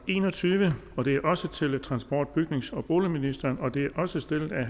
en og tyve og det er også til transport bygnings og boligministeren og det er også stillet af